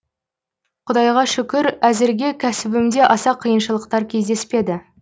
құдайға шүкір әзірге кәсібімде аса қиыншылықтар кездеспеді